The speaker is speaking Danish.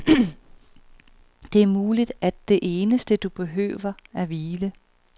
Det er muligt, at det eneste du behøver er hvile.